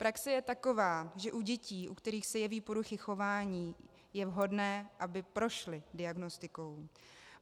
Praxe je taková, že u dětí, u kterých se jeví poruchy chování, je vhodné, aby prošly diagnostikou.